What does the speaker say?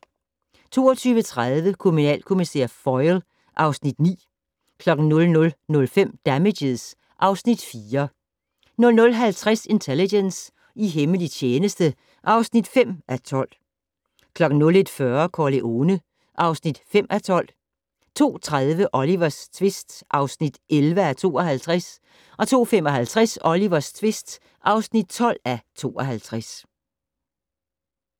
22:30: Kriminalkommissær Foyle (Afs. 9) 00:05: Damages (Afs. 4) 00:50: Intelligence - i hemmelig tjeneste (5:12) 01:40: Corleone (5:12) 02:30: Olivers tvist (11:52) 02:55: Olivers tvist (12:52)